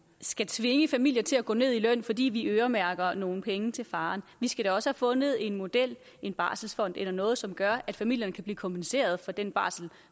skal tvinge familier til at gå ned i løn fordi vi øremærker nogle penge til faren vi skal da også fundet en model en barselsfond eller noget andet som gør at familierne kan blive kompenseret for den barsel